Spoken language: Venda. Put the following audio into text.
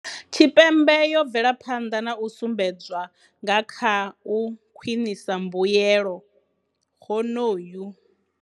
Tshipembe yo bvela phanḓa na u sumbedzwa nga kha u khwiṋisa mbuelo, honohu.